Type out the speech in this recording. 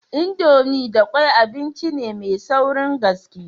Indomie da kwai abinci ne mai saurin gaske.